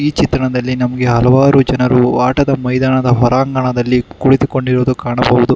ಈ ಚಿತ್ರದಲ್ಲಿ ನಮಗೆ ಹಲವಾರು ಜನರು ಆಟದ ಮೈದಾನದ ಹೊರಾಂಗಣದಲ್ಲಿ ಕುಳಿತುಕೊಂಡಿರುವುದು ಕಾಣಬಹುದು.